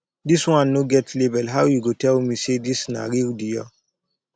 this one no get label how you go tell me say this na real dior